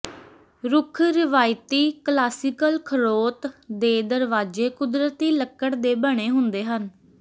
ਰੁੱਖ ਰਵਾਇਤੀ ਕਲਾਸੀਕਲ ਖੜੋਤ ਦੇ ਦਰਵਾਜ਼ੇ ਕੁਦਰਤੀ ਲੱਕੜ ਦੇ ਬਣੇ ਹੁੰਦੇ ਹਨ